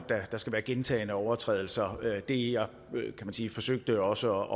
der skal være gentagne overtrædelser det jeg forsøgte også